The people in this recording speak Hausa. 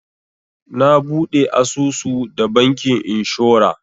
Na buɗe asusu da bankin inshora.